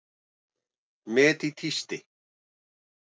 Met í tísti